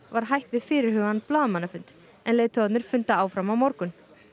var hætt við fyrirhugaðan blaðamannafund en leiðtogarnir funda áfram á morgun